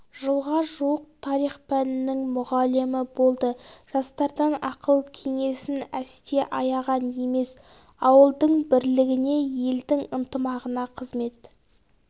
жылға жуық тарих пәнінің мұғалімі болды жастардан ақыл-кеңесін әсте аяған емес ауылдың бірлігіне елдің ынтымағына қызмет